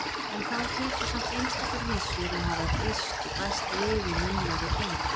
En þá hlytu samt einstakar vísur að hafa breyst og bæst við í munnlegri geymd.